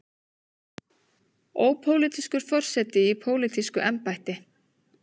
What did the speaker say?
Ópólitískur forseti í pólitísku embætti.